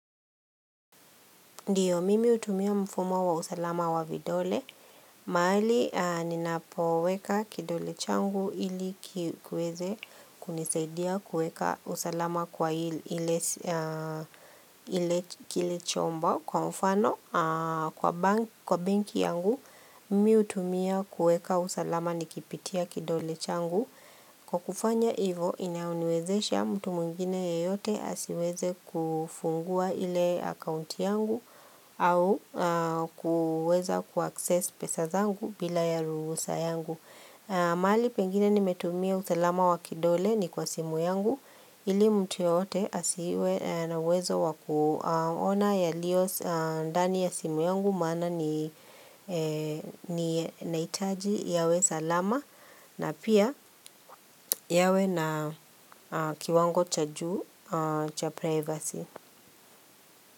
Ndio mimi hutumia mfumo wa usalama wa vidole, mahali ninapoweka kidole changu ili kiweze kunisaidia kuweka usalama kwa ili kile chombo. Kwa mfano, kwa banki yangu, mimi hutumia kuweka usalama nikipitia kidole changu. Kwa kufanya ivo inayoniwezesha mtu mwingine yeyote asiweze kufungua ile akaunti yangu au kuweza kuaccess pesa zangu bila ya ruhusa yangu. Mahali pengine nimetumia usalama wa kidole ni kwa simu yangu ili mtu yeyote asiwe na uwezo wa kuona yalio ndani ya simu yangu maana ni naitaji yawe salama. Na pia yawe na kiwango cha juu cha privacy.